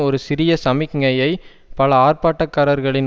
ஒரு சிறிய சமிக்ஞையை பல ஆர்ப்பாட்டக்காரர்களின்